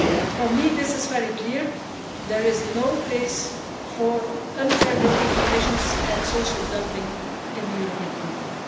For me this is very clear there is no place for unfair working conditions and social dumping in the European Union.